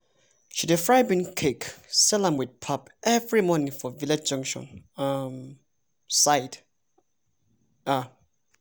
she dey fry dey fry bean cake sell am with pap every morning for village junction um side. um